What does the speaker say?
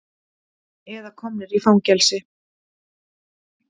Eða komnir í fangelsi.